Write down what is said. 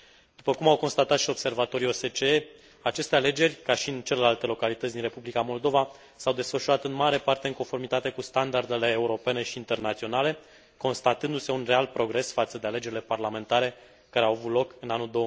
După cum au constatat și observatorii OSCE, aceste alegeri, ca și în celelalte localități din Republica Moldova, s au desfășurat în mare parte în conformitate cu standardele europene și internaționale, constatându se un real progres față de alegerile parlamentare care au avut loc în anul